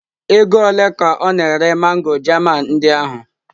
Ego ole ka ọ na-ere mango German ndị ahụ?